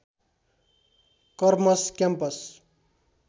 karmas campus